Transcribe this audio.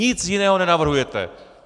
Nic jiného nenavrhujete!